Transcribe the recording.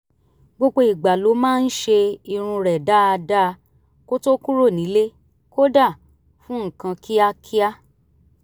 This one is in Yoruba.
gbogbo ìgbà ló máa ń ṣe irun rẹ̀ dáadáa kó tó kúrò nílé kódà fún nǹkan kíákíá